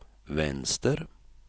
vänster